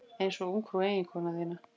Einsog ungfrú eiginkonu þína.